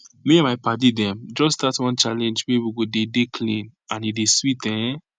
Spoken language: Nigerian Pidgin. me and my padi dem just start one challenge wey we go dey dey clean and e dey sweet ehn